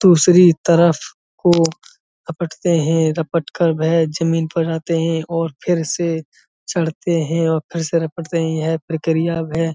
दूसरी तरफ को रपटते है रपट कर भया जमीन पर आते है और फिर से चढ़ते है और फिर से रपटते है इहै प्रक्रिया अब है।